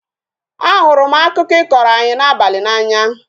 A hụrụ m akụkọ I kọrọ anyi n'abalị n'anya